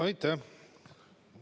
Aitäh!